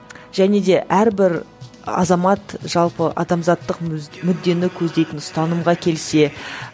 және де әрбір азамат жалпы адамзаттық мүддені көздейтін ұстанымға келсе